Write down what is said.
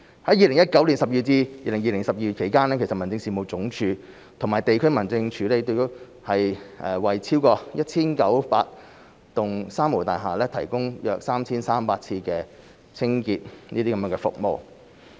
在2019年12月至2020年12月期間，民政事務總署及地區民政事務處已為超過 1,900 幢"三無大廈"提供約 3,300 次清潔服務。